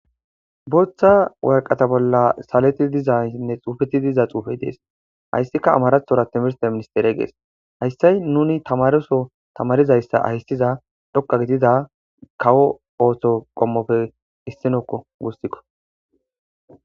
booththa warqata bolla saleti dizaynsinne xuufeti diza xuufe dees hayssika amarathora timirste ministere gees hayssay nuni tamaroso tamarizayssa hayssiza dhokka gidida kawo ooththo qommopfe issinokko wussikko